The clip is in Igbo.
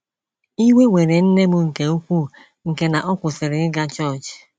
Iwe were nne m nke ukwuu nke na ọ kwụsịrị ịga chọọchị.